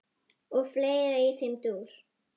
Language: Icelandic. og fleira í þeim dúr.